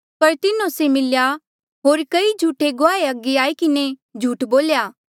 पर तिन्हो से मिलेया होर कई झूठे गुआहे अगे आई किन्हें झूठ बोल्या